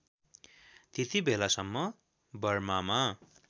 त्यतिबेलासम्म बर्मामा